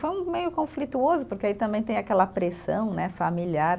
Foi meio conflituoso, porque aí também tem aquela pressão né familiar.